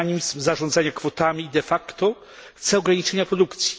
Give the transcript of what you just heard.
mechanizm zarządzania kwotami, de facto chce ograniczenia produkcji.